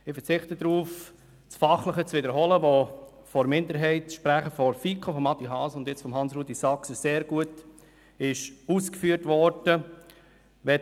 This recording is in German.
Ich verzichte auf fachliche Wiederholungen, welche vom FiKo-Minderheitensprecher Adrian Haas und jetzt von Hans-Rudolf Saxer sehr gut ausgeführt worden sind.